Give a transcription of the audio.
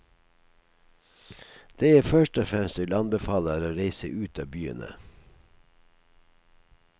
Det jeg først og fremst vil anbefale er å reise ut av byene.